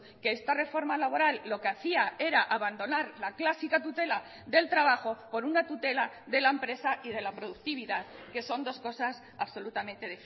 que esta reforma laboral lo que hacía era abandonar la clásica tutela del trabajo por una tutela de la empresa y de la productividad que son dos cosas absolutamente